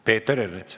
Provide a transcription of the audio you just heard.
Peeter Ernits.